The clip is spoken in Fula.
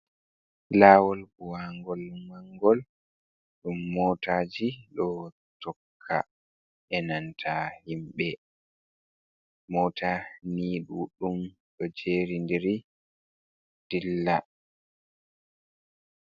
Laawol buwaangol mangol ɗum mootaaji ɗo tokka bee nanta himɓe, moota ni duɗɗum do jeeridiri dilla.